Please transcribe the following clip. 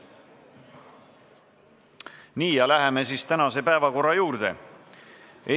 Nii, läheme tänase päevakorra punktide käsitlemise juurde.